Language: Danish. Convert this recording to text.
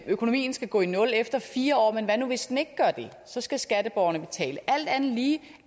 økonomien skal gå i nul efter fire år men hvad nu hvis den ikke gør det så skal skatteborgerne betale alt andet lige